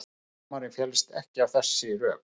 Dómarinn fellst ekki á þessi rök